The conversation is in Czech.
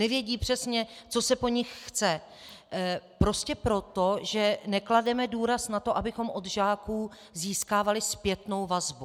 Nevědí přesně, co se po nich chce, prostě proto, že neklademe důraz na to, abychom od žáků získávali zpětnou vazbu.